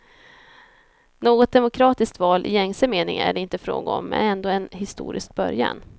Något demokratiskt val i gängse mening är det inte fråga om, men ändå en historisk början.